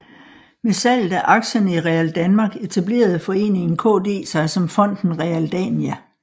Med salget af aktierne i RealDanmark etablerede Foreningen KD sig som Fonden Realdania